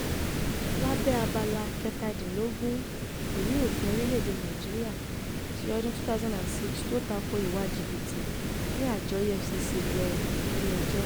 lábẹ́ abala kẹtàdínlógún ìwé òfin orílẹ̀-èdè nàíjíríà ti ọdún 2006 tó takò ìwà jìbìtì ni àjọ efcc lò nílẹ̀-ẹjọ́